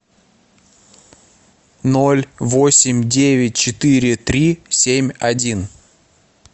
ноль восемь девять четыре три семь один